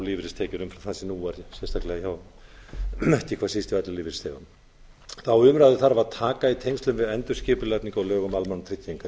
lífeyristekjur umfram það sem nú er ekki síst hjá ellilífeyrisþegum þá umræðu þarf að taka í tengslum við endurskipulagningu á lögum um almannatryggingar